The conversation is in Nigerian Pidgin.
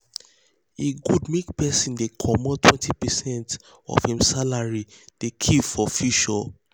e good make persin um dey commot um 20 percent of um hin salary dey keep for future